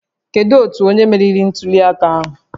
Kedu otu onye meriri ntuli aka ahụ?